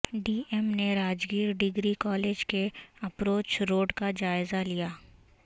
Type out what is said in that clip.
D M نے Rajgir degree college کے approach road کا جائزہ لیا